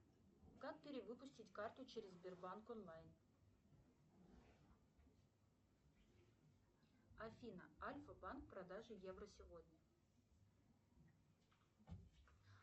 как перевыпустить карту через сбербанк онлайн афина альфа банк продажа евро сегодня